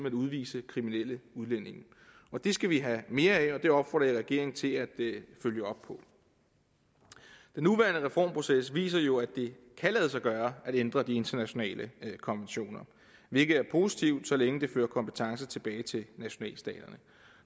at udvise kriminelle udlændinge det skal vi have mere af og det opfordrer jeg regeringen til at følge op på den nuværende reformproces viser jo at det kan lade sig gøre at ændre de internationale konventioner hvilket er positivt så længe der dermed kompetence tilbage til nationalstaterne